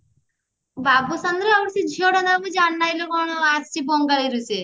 ବାବୁଶାନର ଆଉ ସେଇ ଝିଅ ଟା ନା ଜାଣିନାହିଁ ଲୋ କଣ ବଙ୍ଗାଳୀ ରୁ ସିଏ